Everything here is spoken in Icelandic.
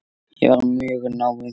Ég var mjög náinn þeim.